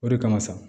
O de kama sa